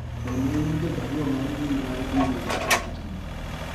be ne iyudo barua mar mbui mar email ma ng'atni